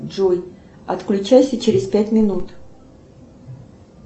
джой отключайся через пять минут